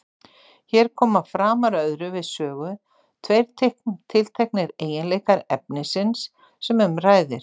Hér koma framar öðru við sögu tveir tilteknir eiginleikar efnisins sem um ræðir.